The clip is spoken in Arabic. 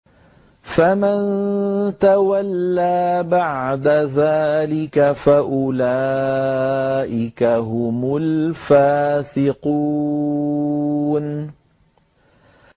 فَمَن تَوَلَّىٰ بَعْدَ ذَٰلِكَ فَأُولَٰئِكَ هُمُ الْفَاسِقُونَ